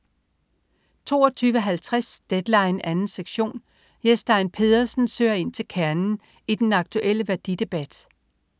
22.50 Deadline 2. sektion. Jes Stein Pedersen søger ind til kernen i den aktuelle værdidebat